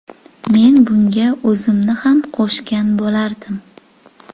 Men bunga o‘zimni ham qo‘shgan bo‘lardim.